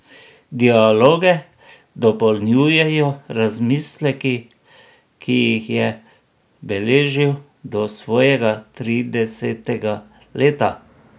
Dialoge dopolnjujejo razmisleki, ki jih je beležil do svojega tridesetega leta.